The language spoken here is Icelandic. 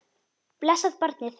Blessað barnið.